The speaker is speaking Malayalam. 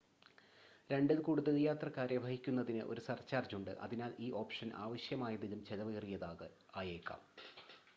2-ൽ കൂടുതൽ യാത്രക്കാരെ വഹിക്കുന്നതിന് ഒരു സർചാർജ് ഉണ്ട് അതിനാൽ ഈ ഓപ്ഷൻ ആവശ്യമായതിലും ചെലവേറിയതായേക്കാം